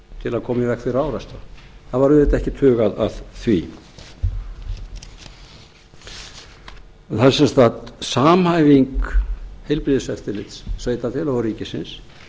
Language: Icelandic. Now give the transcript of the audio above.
til að koma í veg fyrir árekstra það var auðvitað ekkert hugað að því það er sem sagt samhæfing heilbrigðiseftirlits sveitarfélaga og ríkisins